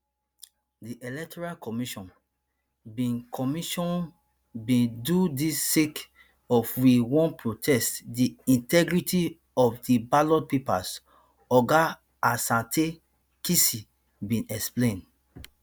di electoral commission bin commission bin do dis sake of we wan protect di integrity of di ballot papers oga asante kissi bin explain